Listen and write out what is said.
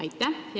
Aitäh!